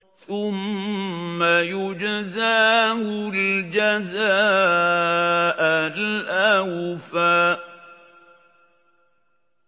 ثُمَّ يُجْزَاهُ الْجَزَاءَ الْأَوْفَىٰ